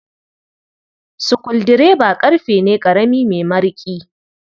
Sukuldireba ƙarfe ne ƙarami mai mariƙi.